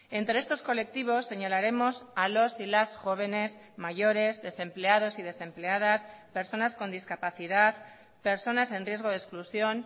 entre estos colectivos señalaremos a los y las jóvenes mayores desempleados y desempleadas personas con discapacidad personas en riesgo de exclusión